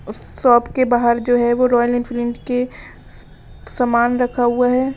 Shop के बाहर जो है वो रॉयल इंफीलिंड के समान रखा हुआ है।